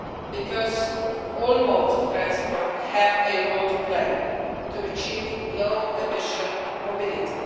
Because all modes of transport have a role to play in achieving low emission mobility.